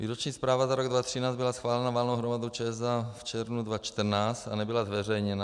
Výroční zpráva za rok 2013 byla schválena valnou hromadou ČSA v červnu 2014 a nebyla zveřejněna.